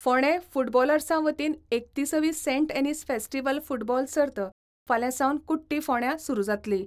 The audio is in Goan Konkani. फोंडा फुटबॉलर्सा वतीन एकतीसवी सेंट एनीस फेस्टीव्हल फुटबॉल सर्त फाल्यां सावन कुट्टी फोंडा सुरू जातली.